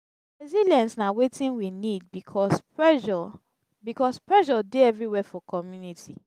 resilience na wetin we need because pressure because pressure dey everywhere for community.